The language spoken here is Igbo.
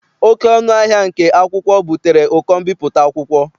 Oké ọnụ ahịa nke akwụkwọ butere ụkọ mbipụta akwụkwọ.